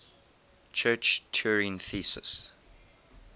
church turing thesis